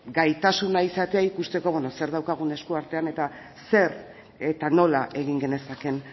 gaitasuna izatea ikusteko beno zer daukagun esku artean eta zer eta nola egin genezakeen